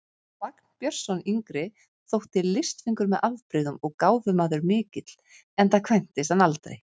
Vagn Björnsson yngri þótti listfengur með afbrigðum og gáfumaður mikill, enda kvæntist hann aldrei.